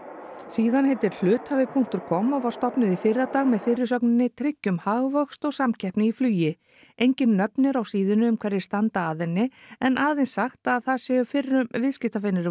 síðan heitir hluthafi punktur com og var stofnuð í fyrradag með fyrirsögninni tryggjum hagvöxt og samkeppni í flugi engin nöfn eru á síðunni um hverjir standi að henni en aðeins sagt að það séu fyrrum viðskiptavinir